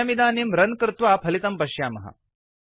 वयमिदानीं रन् कृत्वा फलितं पश्यामः